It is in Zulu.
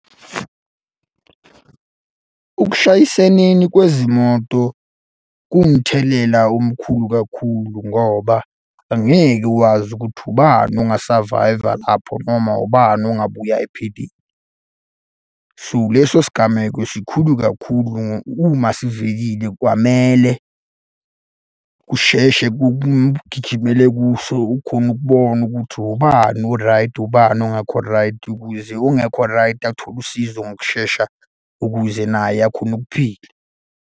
Ukushayiseneni kwezimoto kuwumthelela omkhulu kakhulu ngoba angeke wazi ukuthi ubani ongasavayva lapho noma ubani ongabuya ephilile. So, leso sigameko sikhulu kakhulu uma sivelile kwamele kusheshe kugijimele kuso ukhone ukubona ukuthi ubani o-right, ubani ongekho right ukuze ongekho right, athole usizo ngokushesha ukuze naye akhone ukuphila.